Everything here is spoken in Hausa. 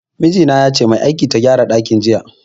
Miji na yace mai aikin ta gyara dakin jiya.